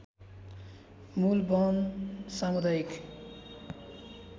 मूल वन सामुदायिक